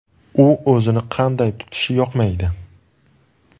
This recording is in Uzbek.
U o‘zini qanday tutishi yoqmaydi.